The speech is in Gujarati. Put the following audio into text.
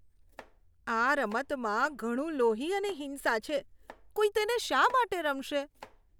આ રમતમાં ઘણું લોહી અને હિંસા છે. કોઈ તેને શા માટે રમશે?